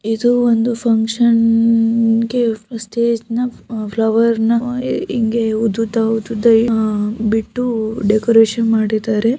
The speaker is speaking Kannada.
ಇದು ಒಂದು ಫಂಕ್ಷನ್ ಗೆ ಸ್ಟೇಜ್ ನ ಫ್ಲವರ್ ನ ಹಿಂಗೆ ಉದ್ದುದ್ದ -- ಉದ್ದುದ್ದ ಬಿಟ್ಟು ಡೆಕೋರೇಷನ್ ಮಾಡಿದ್ದಾರೆ.